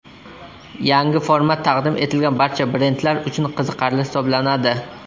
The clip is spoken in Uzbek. Yangi format taqdim etilgan barcha brendlar uchun qiziqarli hisoblanadi.